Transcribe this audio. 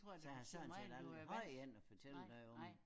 Så jeg har sådan set aldrig haft en at fortælle det om